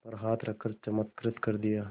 पर हाथ रख चमत्कृत कर दिया